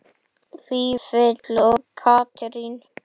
Vífill og Katrín.